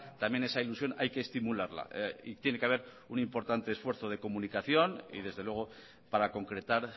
también esa ilusión hay que estimularla y tiene que haber un importante esfuerzo de comunicación y desde luego para concretar